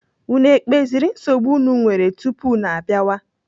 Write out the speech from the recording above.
Unu ekpeziri nsogbu unu nwere tupu unu abịawa?